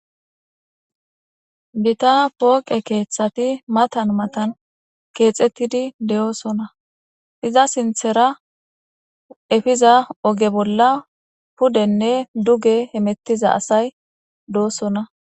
Gita pooqe keeththati matan matan keexettidi de7oosona. Iza sinthera efiza oge bolla pudenne duge hemettiza asay doosona.